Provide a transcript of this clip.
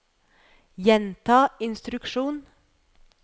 gjenta instruksjon